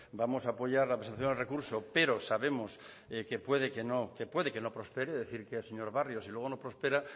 vamos a apoyar la presentación del recurso pero sabemos que puede que no prospere es decir que señor barrio si luego no prospera